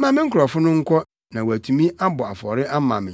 Ma me nkurɔfo no nkɔ na wɔatumi abɔ afɔre ama me.”